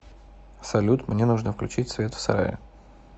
салют мне нужно включить свет в сарае